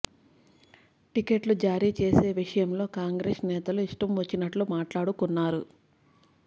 టికెట్లు జారీ చేసే విషయంలో కాంగ్రెస్ నేతలు ఇష్టం వచ్చినట్లు మాట్లాడుకున్నారు